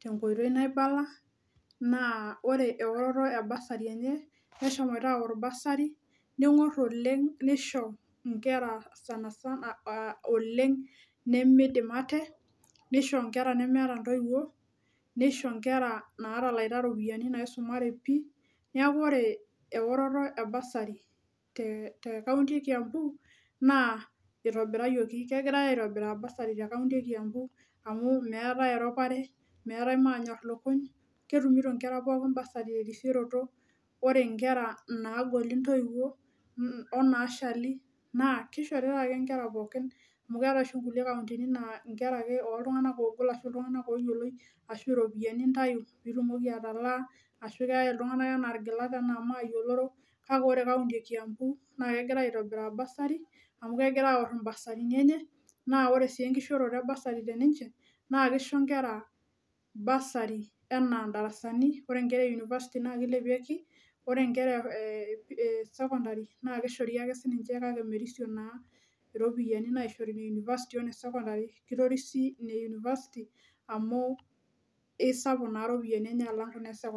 tenkoitoi naibala naa ore eoroto e bursary enye neshomoita aorr bursary ning'orr oleng nisho inkera sanasana uh oleng nemeidim ate nisho inkera nemeeta intoiwuo nisho inkera natalaita iropiyiani naisumare pii neeku ore eoroto e bursary te te county e kiambu naa itobirayioki kegirae aitobiraa bursary te county e kiambu amu meetae eropare meetae manyorr lukuny ketumito inkera pookin bursary erisioroto ore inkera naagoli iintoiwuo n onaashali naa kishoritae ake inkera pookin amu keeetae oshi kulie kauntini naa inkera ake oltung'anak oogol ashu iltung'anak oyioloi ashu iropiani intayu pitumoki atalaa ashu keyae iltung'anak enaa irgilat enaa maoyioloro kake ore kaunti e kiambu naa kegirae aitobiraa bursary amu kegira aorr imbasarini enye naa ore sii enkishooroto e bursary teninche naa kisho inkera bursary enaa indarasani ore inkera e university naa kilepieki ore inkera eh sekondari naa kishori ake sininche kake merisio naa iropiayiani naishori ine university o ine sekondari kitorisi ine university amu isapu naa iropiani enye alang kuna e sekondari.